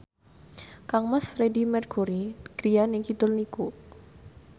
kangmas Freedie Mercury griyane kidul niku